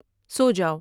سو جاؤ